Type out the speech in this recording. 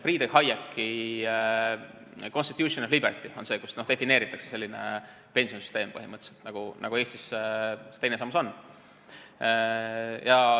Friedrich Hayeki "Constitution of Liberty" on teos, kus defineeritakse põhimõtteliselt selline pensionisüsteem, nagu Eestis see teine sammas on.